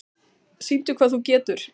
Sýndu hvað þú getur!